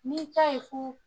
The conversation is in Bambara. N'i ta ye ko